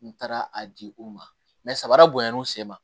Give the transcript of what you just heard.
N taara a di u ma samara bonyana u sen ma